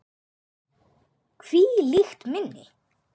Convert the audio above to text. Hvílíkt minni!